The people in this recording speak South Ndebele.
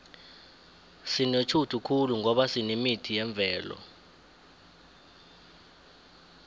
sinetjhudu khulu ngoba sinemithi yemvelo